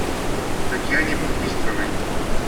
татьяне бурмистровой